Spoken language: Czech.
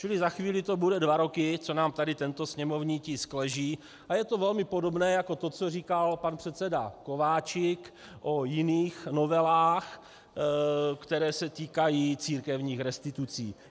Čili za chvíli to budou dva roky, co nám tady tento sněmovní tisk leží, a je to velmi podobné jako to, co říkal pan předseda Kováčik o jiných novelách, které se týkají církevních restitucí.